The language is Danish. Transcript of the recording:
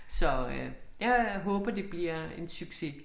Så øh jeg håber det bliver en succes